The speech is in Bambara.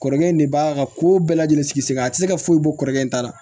Kɔrɔkɛ in de b'a ka kow bɛɛ lajɛlen sigi sen kan a ti se ka foyi bɔ kɔrɔlen ta la